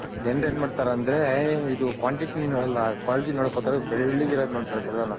ಜನರ್ ಏನ್ ಮಾಡ್ತಾರಂದ್ರೆ ಇದು Quantity ನೋಡೋಲ್ಲ Quality ನೋಡಕ್ ಹೋಗ್ತಾರೆ ಇದು ಬೆಳ್ಳಗ್ ಇರೋದ್ ನೋಡ್ತಾರೆ ಬೆಲ್ಲನ.